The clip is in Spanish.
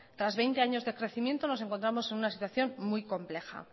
tras veinte años de crecimiento nos encontramos en una situación muy compleja